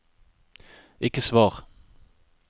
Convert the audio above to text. ikke svar